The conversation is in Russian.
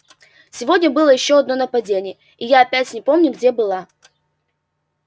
сегодня было ещё одно нападение и я опять не помню где была